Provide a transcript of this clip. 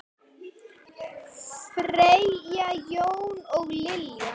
Fanney, Jón og Lilja.